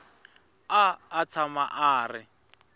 a a tshama a ri